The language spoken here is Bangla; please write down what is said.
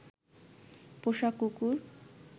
পোষা কুকুর